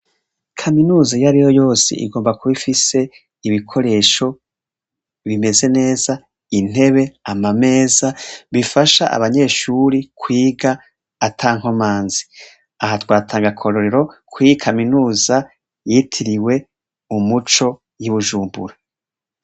Kaminuza iyo ariyo yose igomba kuba ifise ibikoresho bimeze neza. Intebe, amameza bifasha abanyeshuri kwiga ata nkomanzi aha twatanga akarorero kw'iyi Kaminuza Yitiriwe Umuco y'i Bujumbura.